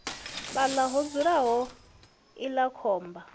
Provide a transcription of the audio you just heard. fhaḽa ho dzulaho iḽla khomba